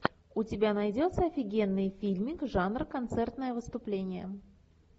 у тебя найдется офигенный фильмик жанра концертное выступление